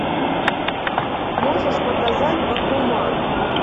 можешь показать бакуман